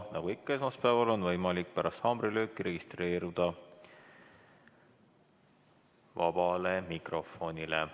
Nagu ikka esmaspäeval on võimalik pärast haamrilööki registreeruda sõnavõtuks vabas mikrofonis.